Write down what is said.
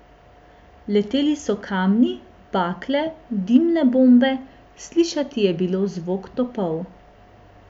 Leteli so kamni, bakle, dimne bombe, slišati je bilo zvok topov.